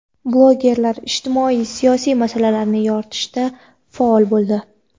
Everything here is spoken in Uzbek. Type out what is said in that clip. Blogerlar ijtimoiy-siyosiy masalalarni yoritishda faol bo‘ldi.